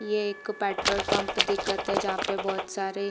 ये एक petrol pump दिखत है जहाँ पे बहोत सारे--